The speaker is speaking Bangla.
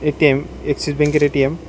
এ_টি_এম এক্সিস ব্যাঙ্কের এ_টি_এম ।